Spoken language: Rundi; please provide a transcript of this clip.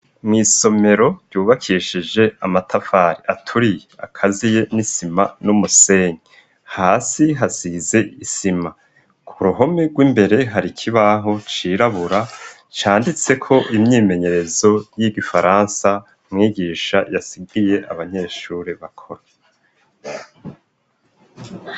Mw'isomero ryubakishije amatafari aturi akaziye n'isima n'umusenyi hasi hasize isima ku ruhome rw'imbere hari ikibaho cirabura canditse ko imyimenyerezo y'igifaransa mwigisha yasigiye abanyeshuri bakora.